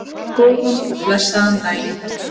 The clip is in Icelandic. Góðan og blessaðan daginn!